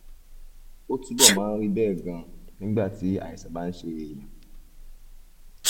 ó túbọ̀ máa ń rí bẹ́ẹ̀ gan-an nígbà tí àìsàn bá ń ṣe èèyàn